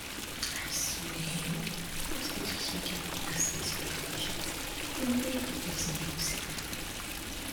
I swear um hospitals wey get prayer space for their patients dey make the person feel safe